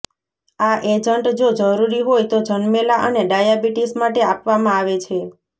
આ એજન્ટ જો જરૂરી હોય તો જન્મેલા અને ડાયાબિટીસ માટે આપવામાં આવે છે